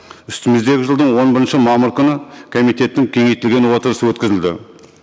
үстіміздегі жылдың он бірінші мамыр күні комитеттің кеңейтілген отырысы өткізілді